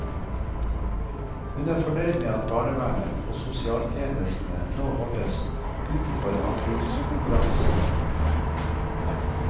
Hun er fornøyd med at barnevernet og sosialtjenestene nå holdes utenfor anbudskonkurransene.